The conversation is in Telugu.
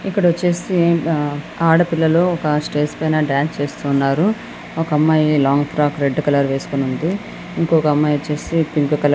ఇక్కడొచ్చేసి ఆ ఆడపిల్లలు ఒక స్టేజి పైన డాన్స్ చేస్తూ ఉన్నారు. ఒక అమ్మాయి లాంగ్ ఫ్రాక్ రెడ్ కలరు వేసుకొని ఉంది. ఇంకొక అమ్మాయి ఓచేసి పింక్ కలర్ --